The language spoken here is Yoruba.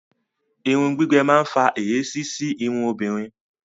Irun gbígbẹ máa ń fa èéṣí sí irun obìnrin